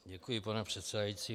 Děkuji, pane předsedající.